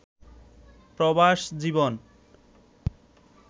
প্রবাস জীবন